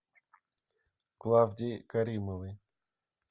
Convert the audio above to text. клавдии каримовой